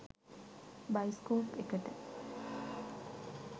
Bioscope එකට.